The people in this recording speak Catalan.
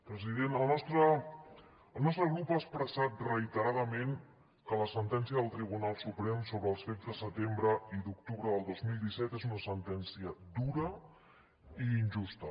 president el nostre grup ha expressat reiteradament que la sentència del tribunal suprem sobre els fets de setembre i d’octubre del dos mil disset és una sentència dura i injusta